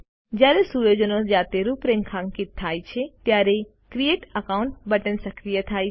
જયારે સુયોજનો જાતે રૂપરેખાંકિત થાય છે ત્યારે ક્રિએટ અકાઉન્ટ બટન સક્રિય થાય છે